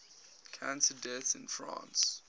cancer deaths in france